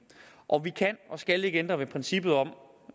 og vi kan og skal ikke ændre ved princippet om